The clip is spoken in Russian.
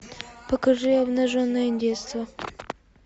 покажи обнаженное детство